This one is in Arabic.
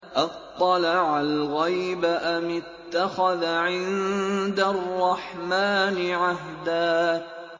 أَطَّلَعَ الْغَيْبَ أَمِ اتَّخَذَ عِندَ الرَّحْمَٰنِ عَهْدًا